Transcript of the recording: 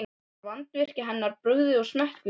Var vandvirkni hennar við brugðið og smekkvísi.